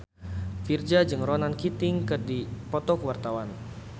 Virzha jeung Ronan Keating keur dipoto ku wartawan